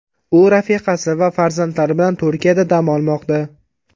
U rafiqasi va farzandlari bilan Turkiyada dam olmoqda.